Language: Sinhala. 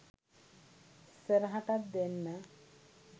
ඉස්සරහටත් ‍දෙන්න